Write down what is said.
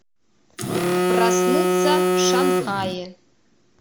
проснуться в шанхае